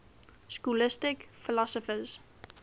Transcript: scholastic philosophers